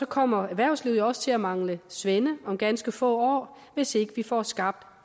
kommer erhvervslivet jo også til at mangle svende om ganske få år hvis ikke vi får skabt